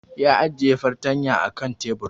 Ya ajiye fartanya kan tebur